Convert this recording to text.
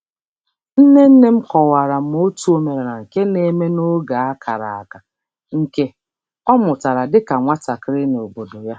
Nne nne m kọwara m otu omenala nke na-eme n'oge a kara aka, nke ọ mụtara dịka nwatakịrị n'obodo ya.